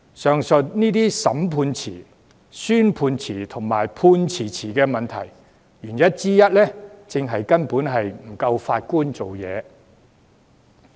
上述這些審訊遲、宣判遲和判詞遲的問題，原因之一正是法官人手不足。